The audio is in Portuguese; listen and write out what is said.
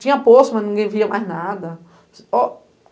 Tinha poço, mas ninguém via mais nada. O